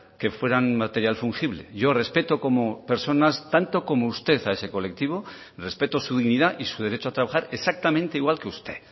que fueran material fungible yo respeto como personas tanto como usted a ese colectivo respeto su dignidad y su derecho a trabajar exactamente igual que usted